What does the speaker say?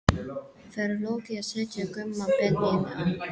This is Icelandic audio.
Fer Logi að setja Gumma Ben inn á?